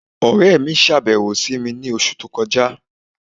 Ọ̀rẹ̀ mi ṣábẹ̀wò sí mi ni ọṣù tó kọja